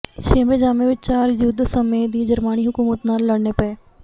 ਛੇਵੇਂ ਜਾਮੇਂ ਵਿਚ ਚਾਰ ਯੁੱਧ ਸਮੇਂ ਦੀ ਜਰਵਾਣੀ ਹਕੂਮਤ ਨਾਲ ਲੜਨੇ ਪਏ